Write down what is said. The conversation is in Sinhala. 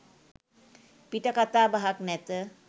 පිට කතා බහක් නැත.